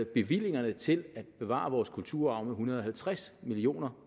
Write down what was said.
bevillingerne til at bevare vores kulturarv med en hundrede og halvtreds million